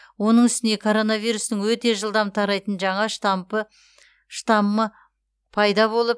оның үстіне коронавирустың өте жылдам тарайтын жаңа штампы пайда болып